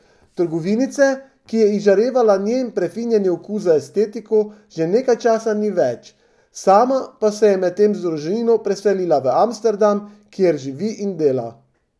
Trgovinice, ki je izžarevala njen prefinjeni okus za estetiko, že nekaj časa ni več, sama pa se je medtem z družino preselila v Amsterdam, kjer živi in dela.